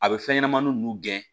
A bɛ fɛn ɲɛnɛmani ninnu gɛn